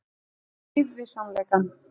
Í stríð við sannleikann